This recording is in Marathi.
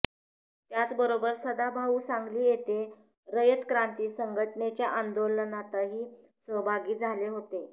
त्याचबरोबर सदाभाऊ सांगली येथे रयत क्रांती संघटनेच्या आंदोलनताही सहभागी झाले होते